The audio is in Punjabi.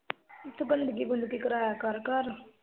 ਤੂੰ ਬੰਦਗੀ-ਬੁਦਗੀ ਕਰਾਇਆ ਕਰ ਘਰ ਦੀ